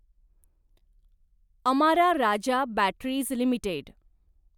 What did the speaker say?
Amara Raja batteries limited